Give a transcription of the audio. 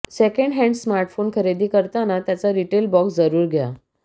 second hand smartphone खरेदी करताना त्याचा रिटेल बॉक्स जरूर घ्या